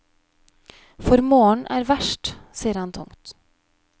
For morgenen er verst, sier han tungt.